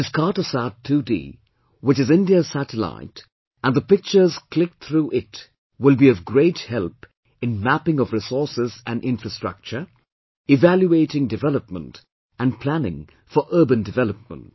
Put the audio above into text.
It is Cartosat 2D, which is India's satellite and the pictures clicked through it will be of great help in mapping of resources and infrastructure, evaluating development and planning for urban development